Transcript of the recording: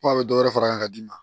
Ko a bɛ dɔ wɛrɛ far'a kan ka d'i ma